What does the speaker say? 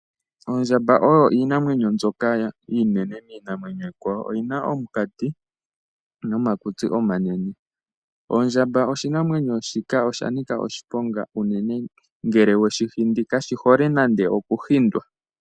Oondjamba odho iinamwenyo mbyoka iinene miinamwenyo iikwawo. Odhi na omunkati nomakutsi omanene. Oshinamwenyo shika osha nika oshiponga unene ngele we shi hindi, kashi hole nande okuhindwa.